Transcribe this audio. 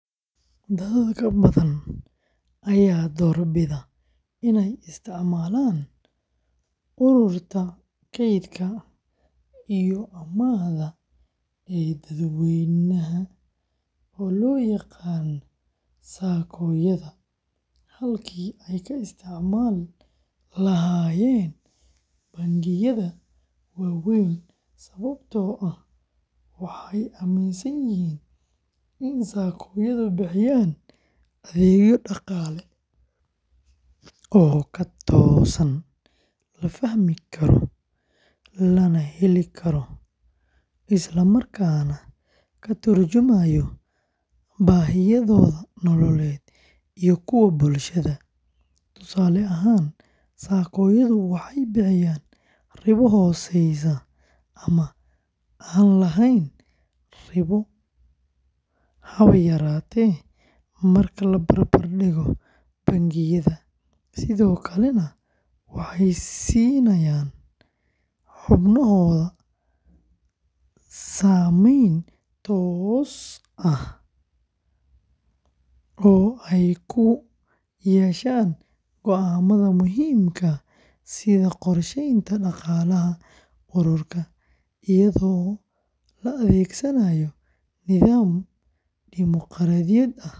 Dad badan ayaa doorbida inay isticmaalaan ururada kaydka iyo amaahda ee dadweynaha loo yaqaan SACCO-yada halkii ay ka isticmaali lahaayeen bangiyada waaweyn sababtoo ah waxay aaminsan yihiin in SACCO-yadu bixiyaan adeegyo dhaqaale oo ka toosan, la fahmi karo, la heli karo, isla markaana ka turjumaya baahiyahooda nololeed iyo kuwa bulshada; tusaale ahaan, SACCO-yadu waxay bixiyaan ribo hooseysa ama aan lahayn ribo haba yaraatee marka la barbardhigo bangiyada, sidoo kalena waxay siinayaan xubnahooda saamayn toos ah oo ay ku yeeshaan go’aamada muhiimka ah sida qorsheynta dhaqaalaha ururka, iyadoo la adeegsanaayo nidaam dimoqraadi ah.